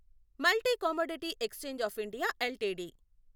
multi commodity exchange of India LTD